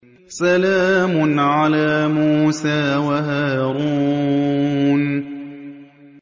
سَلَامٌ عَلَىٰ مُوسَىٰ وَهَارُونَ